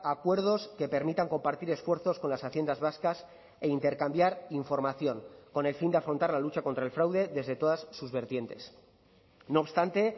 acuerdos que permitan compartir esfuerzos con las haciendas vascas e intercambiar información con el fin de afrontar la lucha contra el fraude desde todas sus vertientes no obstante